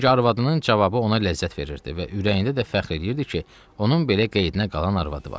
Çünki arvadının cavabı ona ləzzət verirdi və ürəyində də fəxr eləyirdi ki, onun belə qeydinə qalan arvadı var.